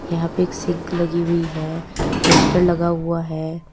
यहां पे एक सिंक लगी हुई है पोस्टर लगा हुआ है।